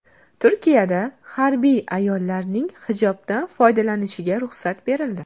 Turkiyada harbiy ayollarning hijobdan foydalanishiga ruxsat berildi.